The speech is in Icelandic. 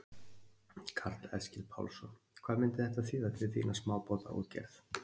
Karl Eskil Pálsson: Hvað myndi þetta þýða fyrir þína smábátaútgerð?